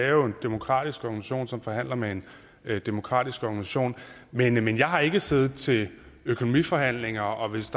jo en demokratisk organisation som forhandler med en demokratisk organisation men jeg har ikke siddet til økonomiforhandlinger og hvis